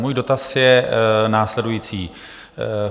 Můj dotaz je následující.